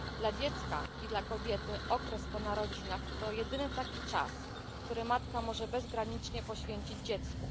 Dla dziecka i dla kobiety okres po narodzinach to jedyny taki czas, który matka może bezgranicznie poświęcić dziecku.